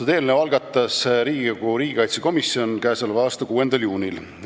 Selle eelnõu algatas Riigikogu riigikaitsekomisjon k.a 6. juunil.